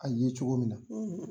a ye cogo min na.